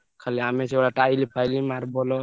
ଖାଲି ଆମେ ଯୋଉ ଗୁଡା tile ଫାଇଲି marble ।